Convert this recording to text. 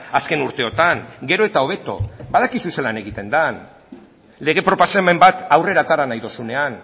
azken urteotan gero eta hobeto badakizu zelan egiten den lege proposamen bat aurrera atera nahi duzunean